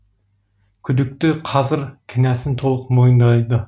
күдікті қазір кінәсін толық мойындайды